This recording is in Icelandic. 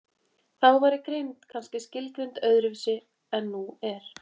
Þá væri greind kannski skilgreind öðru vísi en nú er.